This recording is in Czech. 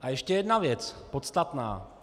A ještě jedna věc, podstatná.